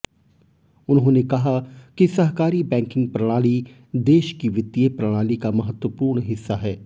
उन्होंने कहा कि सहकारी बैंकिंग प्रणाली देश की वित्तीय प्रणाली का महत्त्वपूर्ण हिस्सा है